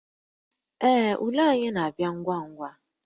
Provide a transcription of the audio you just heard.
Ee, ule anyị na-abịa ngwa ngwa